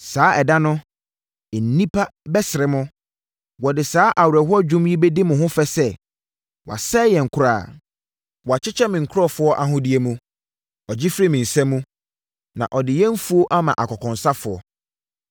Saa ɛda no, nnipa bɛsere mo. Wɔde saa awerɛhoɔ dwom yi bɛdi mo ho fɛ sɛ: ‘wɔasɛe yɛn koraa; wɔakyekyɛ me nkurɔfoɔ ahodeɛ mu. Ɔgye firi me nsa mu! Na ɔde yɛn mfuo ma akɔnkɔnsafoɔ.’ ”